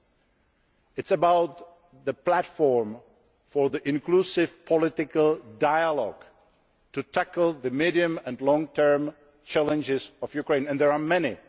It is about the platform for inclusive political dialogue to tackle the medium and long term challenges of Ukraine, and there are many.